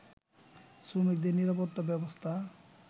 শ্রমিকদের নিরাপত্তা ব্যবস্থা